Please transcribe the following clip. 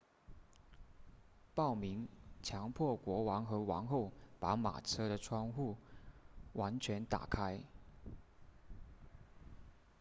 暴民强迫国王和王后把马车的窗户完全打开